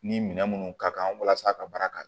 Ni minɛn minnu ka kan walasa a ka baara ka